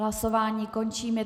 Hlasování končím.